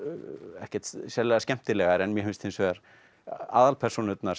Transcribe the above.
ekkert sérlega skemmtilegar en mér finnst hins vegar aðalpersónurnar